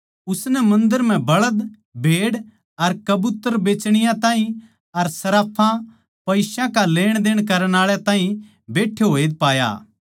उसनै मन्दर म्ह बळद भेड़ अर कबूतर बेच्चण आळे अर सर्राफां पईसा का लेण देण करण आळे ताहीं बैट्ठे होए पाया